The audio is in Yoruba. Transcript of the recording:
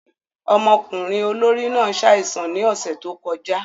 Ọmọkunrin olori náà ṣaisan ni ọsẹ to kọja.